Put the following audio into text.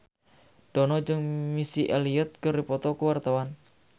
Dono jeung Missy Elliott keur dipoto ku wartawan